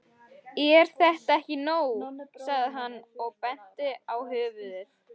Er þetta ekki nóg? sagði hann og benti á höfuðið.